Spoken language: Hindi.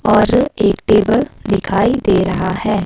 और एक टेबल दिखाई दे रहा है।